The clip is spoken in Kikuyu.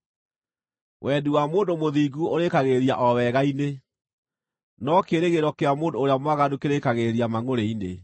Wendi wa mũndũ mũthingu ũrĩkagĩrĩria o wega-inĩ, no kĩĩrĩgĩrĩro kĩa mũndũ ũrĩa mwaganu kĩrĩĩkagĩrĩria mangʼũrĩ-inĩ.